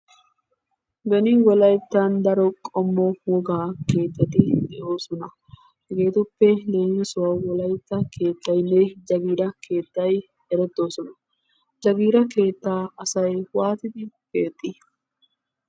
Beni wolayttan daro qommo wogaa keettati de'oosona. Jegetuppe leemissuwawu Wolaytta keettaynne jagiira keettay erettoosona. Jagiira keettaa asay waattidi keexxi?